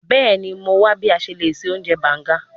Bẹẹni, Mo wa bi a ṣe le ṣe ounjẹ banga